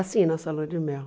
Assim, nossa Lua de Mel.